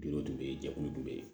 Duuru dun bɛ yen jɛkulu dɔ bɛ yen